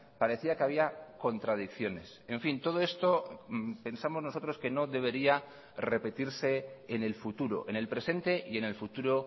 parecía que había contradicciones en fin todo esto pensamos nosotros que no debería repetirse en el futuro en el presente y en el futuro